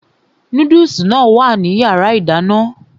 Núdùsì náà wà ní yàrá ìdáná